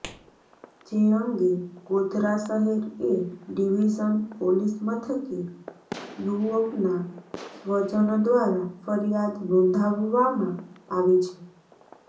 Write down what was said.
જે અંગે ગોધરા શહેર એ ડીવીઝન પોલીસ મથકે યુવકના સ્વજન દ્વારા ફરીયાદ નોંધાવવામાં આવી છે